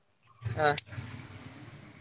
ಹಾ.